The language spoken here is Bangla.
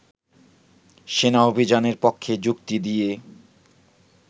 সেনা অভিযানের পক্ষে যুক্তি দিয়ে